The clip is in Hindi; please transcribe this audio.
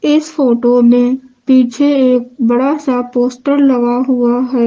इस फोटो में पीछे एक बड़ा सा पोस्टर लगा हुआ है।